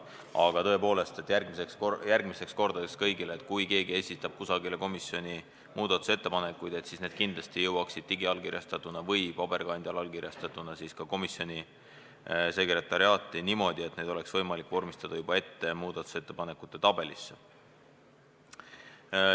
Aga tõepoolest, järgmisteks kordadeks kõigile: kui keegi esitab muudatusettepanekuid, siis peaksid need kindlasti jõudma komisjoni sekretariaati digiallkirjastatuna või paberil allkirjastatuna niimoodi, et neid oleks võimalik juba ette vormistada muudatusettepanekute tabelis.